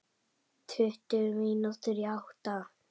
Tuttugu mínútur í átta.